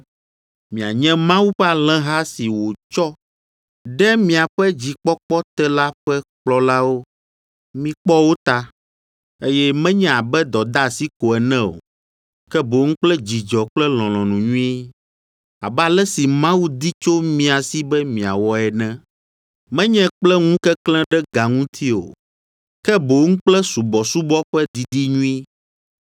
mianye Mawu ƒe alẽha si wòtsɔ de miaƒe dzikpɔkpɔ te la ƒe kplɔlawo, mikpɔ wo ta, eye menye abe dɔdeasi ko ene o, ke boŋ kple dzidzɔ kple lɔlɔ̃nu nyui, abe ale si Mawu di tso mia si be miawɔ ene. Menye kple ŋukeklẽ ɖe ga ŋuti o, ke boŋ kple subɔsubɔ ƒe didi nyui,